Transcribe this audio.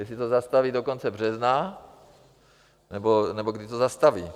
Jestli to zastaví do konce března, nebo kdy to zastaví.